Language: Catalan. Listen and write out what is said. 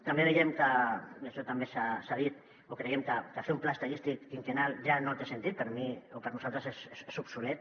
també veiem que i això també s’ha dit o creiem que fer un pla estadístic quinquennal ja no té sentit per mi o per nosaltres és obsolet